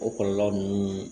O kɔlɔlɔ ninnu